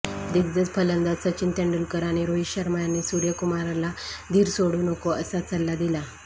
दिग्गज फलंदाज सचिन तेंडुलकर आणि रोहित शर्मा यांनी सूर्यकुमारला धीर सोडू नको असा सल्ला दिला